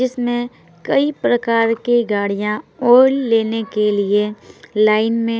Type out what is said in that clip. इसमें कई प्रकार की गाड़िया ओइल लेने के लिए लाइन मे--